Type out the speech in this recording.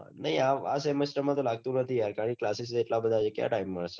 આ semester માં લાગતું નથી classis આટલા બઘા છે ક્યાં થી ટાઈમ મલે